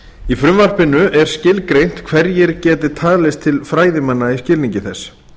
í frumvarpinu er skilgreint hverjir geti talist til fræðimanna í skilningi þess